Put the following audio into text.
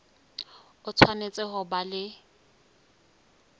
o tshwanetse ho ba le